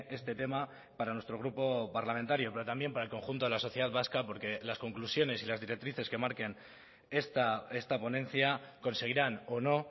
este tema para nuestro grupo parlamentario pero también para el conjunto de la sociedad vasca porque las conclusiones y las directrices que marquen esta ponencia conseguirán o no